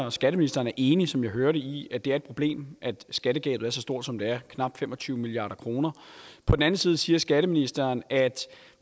at skatteministeren er enig som jeg hører det i at det er et problem at skattegabet er så stort som det er knap fem og tyve milliard kr og på den anden side siger skatteministeren at